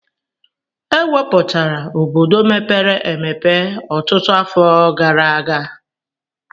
E wupụtala obodo mepere emepe ọtụtụ afọ gara aga.